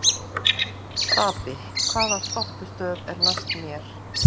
Stapi, hvaða stoppistöð er næst mér?